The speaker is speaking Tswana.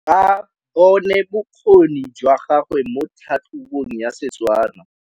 Ba bone bokgoni jwa gagwe mo tlhatlhobong ya Setswana.